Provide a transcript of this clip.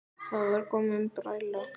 Það var komin bræla.